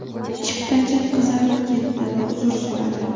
Chiptachi qizarib ketdi va uzr so‘radi”.